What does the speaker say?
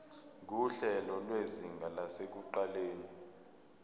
nguhlelo lwezinga lasekuqaleni